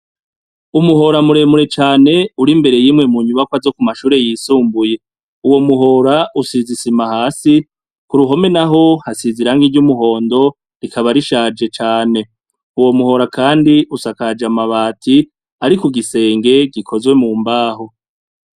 Umuhora muremure cane uri mbere y'imwe mu nyubakwa zo ku mashure yisumbuye. Uwo muhora usize isima hasi, ku ruhome naho hasize irangi ry'umuhondo, rikaba rishaje cane. Uwo muhora kandi usakaje amabati ari ku gisenge gikozwe mu mbaho.